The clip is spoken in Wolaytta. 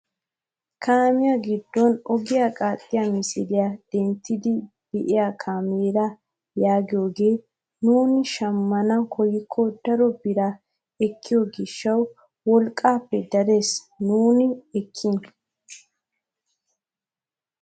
Kaamiyaa giddon ogiyaa qaaxxiyaa misiliyaa denttiidi biyaa kaameraa yaagiyoogee nuuni shamman koyikko daro biraa ekkiyoo gishshawu wolqqaappe dares nusi ekeekin.